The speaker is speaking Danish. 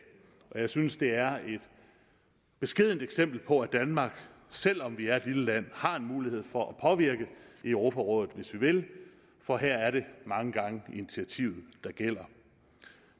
jeg synes at det er et beskedent eksempel på at danmark selv om vi er et lille land har en mulighed for at påvirke i europarådet hvis vi vil for her er det mange gange initiativet der gælder